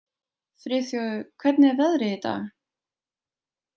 Friðþjófur, hvernig er veðrið í dag?